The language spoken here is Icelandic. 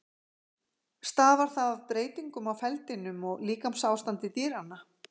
Stafar það af breytingum á feldinum og líkamsástandi dýranna.